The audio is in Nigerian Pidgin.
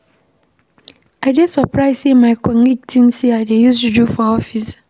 I dey surprise sey my colleagues tink sey I dey use juju for office.